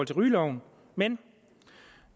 til rygeloven men